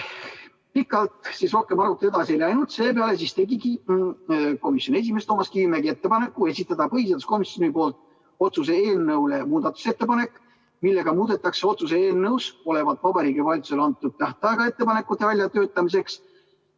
Pikalt arutelu rohkem edasi ei läinud ning seepeale tegigi komisjoni esimees Toomas Kivimägi ettepaneku esitada põhiseaduskomisjoni nimel otsuse eelnõu kohta muudatusettepanek, millega muudetakse otsuse eelnõus olevat Vabariigi Valitsusele antud tähtaega ettepanekute väljatöötamiseks.